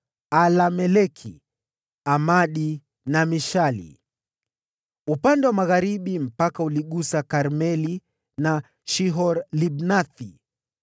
Alameleki, Amadi na Mishali. Upande wa magharibi mpaka uligusa Karmeli na Shihor-Libnathi.